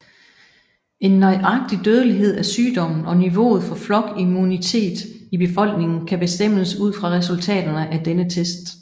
En nøjagtig dødelighed af sygdommen og niveauet for flokimmunitet i befolkningen kan bestemmes ud fra resultaterne af denne test